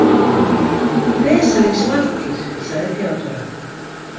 Vesalings Valtýr, segir Theodóra.